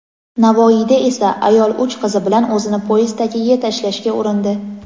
Navoiyda esa ayol uch qizi bilan o‘zini poyezd tagiga tashlashga urindi.